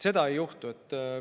Seda ei juhtu.